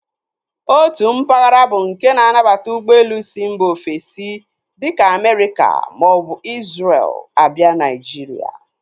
Otu mpaghara bụ nke na-anabata ụgbọelu si mba ofesi dịka Amerịka maọbụ Izrel a bịa Naijiria.